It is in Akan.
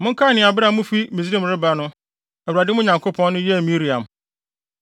Monkae nea bere a mufi Misraim reba no Awurade, mo Nyankopɔn no, yɛɛ Miriam.